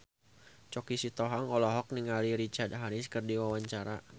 Choky Sitohang olohok ningali Richard Harris keur diwawancara